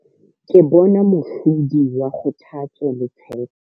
Ke bona mohlodi wa kgothatso le tshepo.